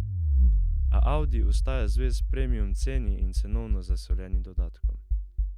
A Audi ostaja zvest premium ceni in cenovno zasoljenim dodatkom.